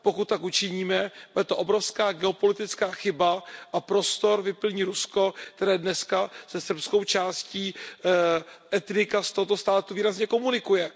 Pokud tak učiníme, bude to obrovská geopolitická chyba a prostor vyplní Rusko, které dnes se srbskou částí etnika z tohoto státu významně komunikuje.